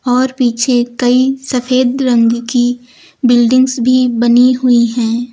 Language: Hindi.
और पीछे कई सफेद रंग की बिल्डिंग्स भी बनी हुई हैं।